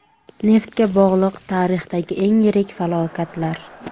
Neftga bog‘liq tarixdagi eng yirik falokatlar.